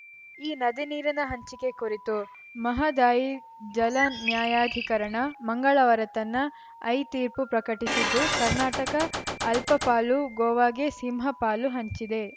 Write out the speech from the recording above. ಈ ನದಿ ನೀರಿನ ಹಂಚಿಕೆ ಕುರಿತು ಮಹದಾಯಿ ಜಲ ನ್ಯಾಯಾಧಿಕರಣ ಮಂಗಳವಾರ ತನ್ನ ಐತೀರ್ಪು ಪ್ರಕಟಿಸಿದ್ದು ಕರ್ನಾಟಕ ಅಲ್ಪಪಾಲು ಗೋವಾಗೆ ಸಿಂಹಪಾಲು ಹಂಚಿದೆ